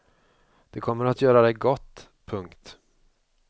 Det kommer att göra dig gott. punkt